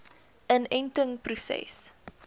inentingproses